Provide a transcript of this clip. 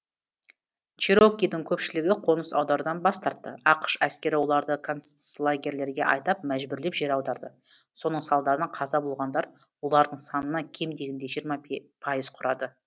черокидің көпшілігі қоныс аударудан бас тартты ақш әскері оларды концлагерлерге айдап мәжбүрлеп жер аударды соның салдарынан қаза болғандар олардың санынан кем дегенде жиырма пайыз құрады